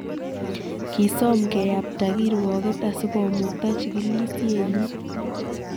Kisom keyapta kirwoket asikomukta chikilisienyi